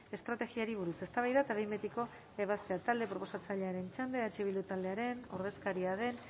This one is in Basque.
estrategiari buruz eztabaida eta behin betiko ebazpena talde proposatzailearen txanda eh bildu taldearen ordezkaria den